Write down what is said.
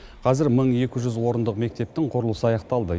қазір мың екі жүз орындық мектептің құрылысы аяқталды